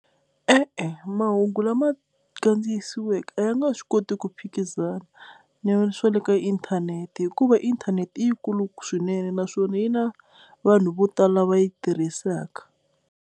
E-e mahungu lama kandziyisiweke a ya nga swi koti ku phikizana na swa le ka inthanete hikuva inthanete i yi kulu swinene naswona yi na vanhu vo tala va yi tirhisaka.